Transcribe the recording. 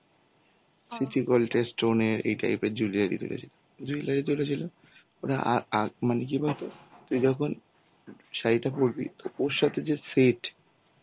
City gold এর stone এর এই type এর jewellery তে গেছে jewellery তুলেছিল. ওরা অ্যাঁ আঁ মানে কি বলতো, তুই যখন শাড়িটা পরবি তো ওর সাথে যে set